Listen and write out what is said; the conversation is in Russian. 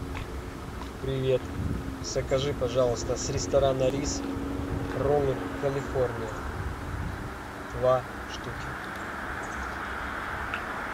привет закажи пожалуйста с ресторана рис роллы калифорния два штуки